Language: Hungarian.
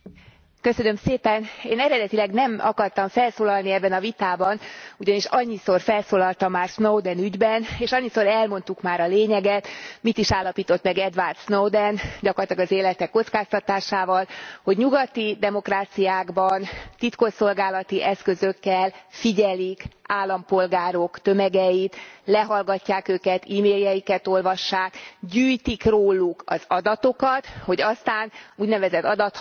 Én eredetileg nem akartam felszólalni ebben a vitában, ugyanis annyiszor felszólaltam már Snowden ügyben, és annyiszor elmondtuk már a lényeget, mit is állapított meg Edward Snowden gyakorlatilag az élete kockáztatásával, hogy nyugati demokráciákban titkosszolgálati eszközökkel figyelik állampolgárok tömegeit, lehallgatják őket, emailjeiket olvassák, gyűjtik róluk az adatokat, hogy aztán az úgynevezett adathalászat módszerével